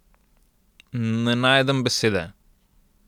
Ne najdem besede ...